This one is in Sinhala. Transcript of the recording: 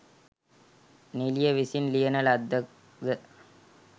නිළිය විසින් ලියන ලද්දක්ද?